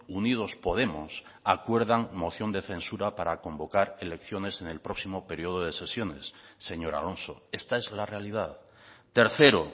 unidos podemos acuerdan moción de censura para convocar elecciones en el próximo periodo de sesiones señor alonso esta es la realidad tercero